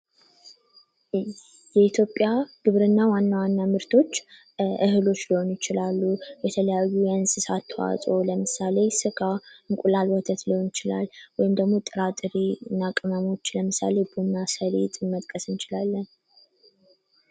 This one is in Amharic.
የኢትዮጵያ ግብርና ዋና ዋና ምርቶች እህሎች ሊሆኑ ይችላሉ፤ የተለያዩ የእንስሳት ተዋጽኦ ለምሳሌ ሥጋ ፣እንቁላል ፣ወተት ሊሆን ይችላል። ወይም ደግሞ ጥራጥሬ እና ቅመሞች ለምሳሌ ቡና ፣ ሰሊጥ መጥቀስ እንችላለን።